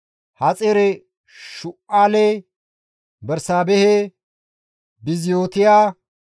Haxaare-Shu7aale, Bersaabehe, Biziyootiya,